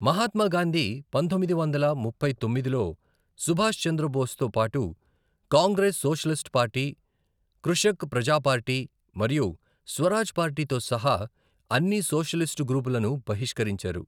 మహాత్మా గాంధీ పంతొమ్మిది వందల ముప్పై తొమ్మిదిలో సుభాష్ చంద్రబోస్తో పాటు Congress socialist party, Krishak Praja party మరియు స్వరాజ్ పార్టీతో సహా అన్ని సోషలిస్టు గ్రూపులను బహిష్కరించారు.